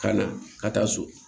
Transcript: Ka na ka taa so